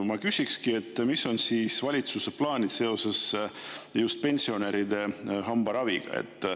Ma küsikski, mis on valitsuse plaanid seoses just pensionäride hambaraviga.